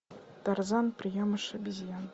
тарзан приемыш обезьян